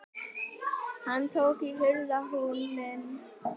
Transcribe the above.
Hann tók í hurðarhúninn.